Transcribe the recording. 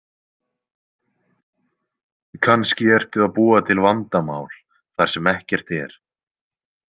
Kannski ertu að búa til vandamál þar sem ekkert er.